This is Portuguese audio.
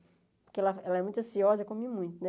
Porque ela ela é muito ansiosa, come muito, né?